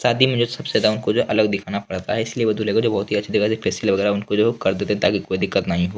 शादी में जो सबसे ज्यादा उनको जो है अलग दिखना पड़ता है इसीलिए वो दूल्हे को जो होती है अच्छी तरह से फेशियल वैगरह उनको कर देते ताकी उनको कोई दिक्कत नहीं हो।